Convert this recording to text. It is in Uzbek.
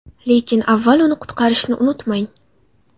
Lekin avval uni quritishni unutmang.